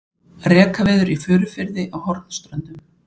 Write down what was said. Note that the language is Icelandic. Rekaviður í Furufirði á Hornströndum.